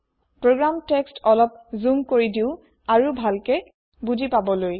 program text অলপ zoom কৰি দিওঁ আৰু ভালকৈ বুজি পাবলৈ